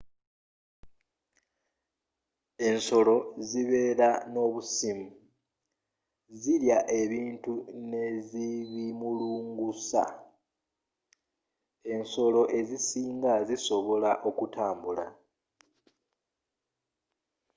ensolo zibeera nobusimu zirya ebintu nezibimulungusa ensolo ezisinga zisobola okutambula